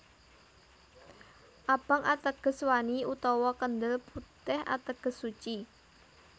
Abang ateges wani utawa kendel putih ateges suci